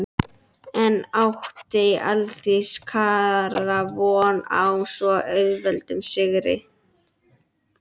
En átti Aldís Kara von á svo auðveldum sigri?